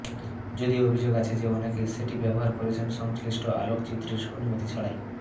যদিও অভিযোগ আছে যে অনেকে সেটি ব্যবহার করেছেন সংশ্লিষ্ট আলোকচিত্রীর অনুমতি ছাড়াই